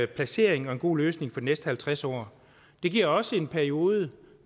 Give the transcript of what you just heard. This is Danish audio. placering og en god løsning for de næste halvtreds år det giver også en periode